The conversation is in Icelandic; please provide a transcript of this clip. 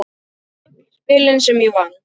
Öll spilin sem ég vann.